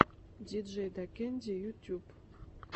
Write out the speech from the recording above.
диджейдакэнди ютуб